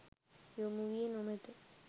යොමු වී නොමැත.